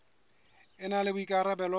e na le boikarabelo ba